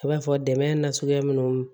I b'a fɔ dɛmɛ nasuguya minnu